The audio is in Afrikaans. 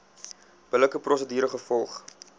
billike prosedure gevolg